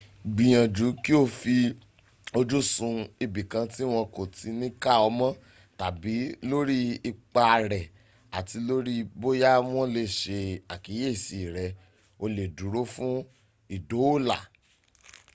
gbìyànjú kí o fi ojú sun ibìkan tí wọ́n kò ti ní ká ọ mọ́ tàbí lórí ipa rẹ àti lórí bóyá wọ́n lè se àkíyèsí rẹ o lè dúró fún ìdóòlà